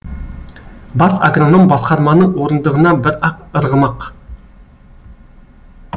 бас агроном басқарманың орындығына бір ақ ырғымақ